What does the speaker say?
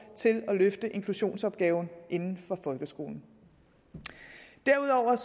til at løfte inklusionsopgaven inden for folkeskolen derudover er